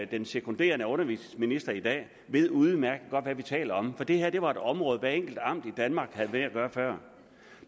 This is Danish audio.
den sekunderende undervisningsminister i dag ved udmærket godt hvad vi taler om for det her var et område hvert enkelt amt i danmark havde med at gøre før